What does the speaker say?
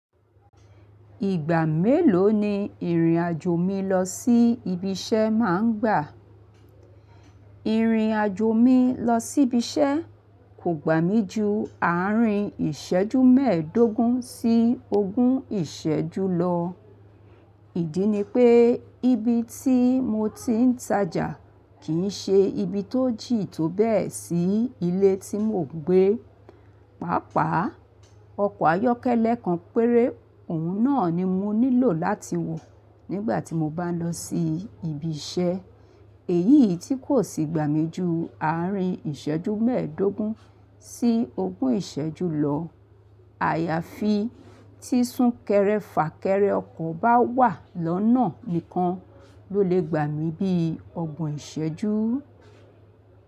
Ìgbà mélòó ni ìrìnàjò mi lọ sí ibi iṣẹ́ má ń gbà? Ìrìnàjò mi lọ sí ibi iṣẹ́ kò gbà mí ju àárín ìṣẹ́jú mẹ́ẹ̀ẹ́dógún sí ogún ìṣẹ́jú lọ. Ìdí ni pé ibi tí mo ti ń tajà kì í ṣe ibi tó jì tóbẹ̀ẹ́ sí ilé tí mò ń gbé. Pàápàá ọkọ̀ ayọ́kẹ́lẹ́ kan péré, òun náà ni mo nílò láti wọ̀ nígbà tí mo bá ń lọ sí ibi iṣẹ́. Èyí tí kò sì gbà mí ju àárín ìṣẹ́jú mẹ́ẹ̀ẹ́dógún sí ogún ìṣẹ́jú lọ. Àyàfi tí súnkẹrẹ fà kẹrẹ ọkọ̀ bá wà lọ́nà nìkan ló lè gbà mí bí ọgbọ̀n ìṣẹ́jú.